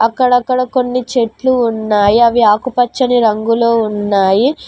అక్కడక్కడ కొన్ని చెట్లు ఉన్నాయి అవి ఆకుపచ్చని రంగులో ఉన్నాయి.